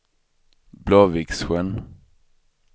Blåviksjön